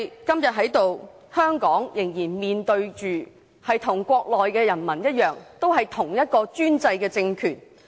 今天的香港，仍然與國內的人民面對着同一個專制政權。